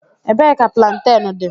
Ebee ka plantain dị?